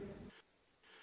''